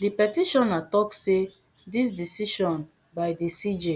di petitioner tok say dis decision by di cj